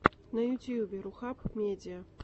на ютьюбе рухаб медиа